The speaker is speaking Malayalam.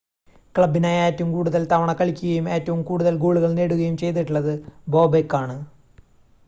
ക്ലബ്ബിനായി ഏറ്റവും കൂടുതൽ തവണ കളിക്കുകയും ഏറ്റവും കൂടുതൽ ഗോളുകൾ നേടുകയും ചെയ്തിട്ടുള്ളത് ബോബെക്കാണ്